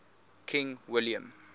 king william